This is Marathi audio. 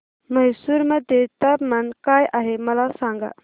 म्हैसूर मध्ये तापमान काय आहे मला सांगा